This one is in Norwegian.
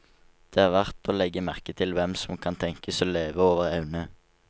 Det er verd å legge merke til hvem som kan tenkes å leve over evne.